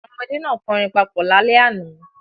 Àwọn ọmọdé náà kọrin papọ̀ lálẹ́ àná.